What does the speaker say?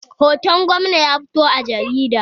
Hoton gwamna ya fito a jarida